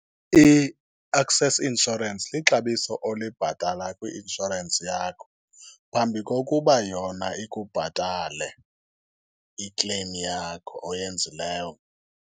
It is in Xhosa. I-excess insurance lixabiso olibhatala kwi-inshorensi yakho phambi kokuba yona ikubhatale i-claim yakho oyenzileyo.